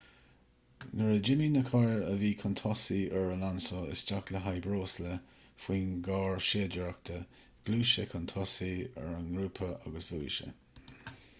nuair a d'imigh na cairr a bhí chun tosaigh ar alonso isteach le haghaidh breosla faoin gcarr séidaireachta ghluais sé chun tosaigh ar an ngrúpa agus bhuaigh sé